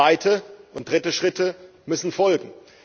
Zweite und dritte Schritte müssen folgen.